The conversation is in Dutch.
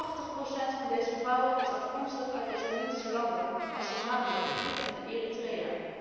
Tachtig procent van deze vrouwen is afkomstig uit islamitische landen, als Somalië, Egypte en Eritrea.